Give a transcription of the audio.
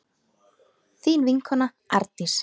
Þín vinkona Arndís.